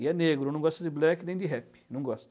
E é negro, não gosta de black nem de rap, não gosta.